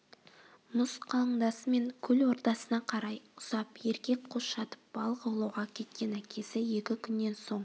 мұз қалыңдасымен көл ортасына қарай ұзап еркек қос жатып балық аулауға кеткен әкесі екі күннен соң